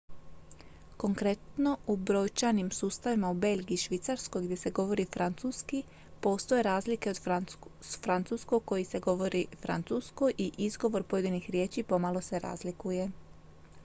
konkretno u brojčanim sustavima u belgiji i švicarskoj gdje se govori francuski postoje razlike od francuskog koji se govori francuskoj i izgovor pojedinih riječi pomalo se razlikuje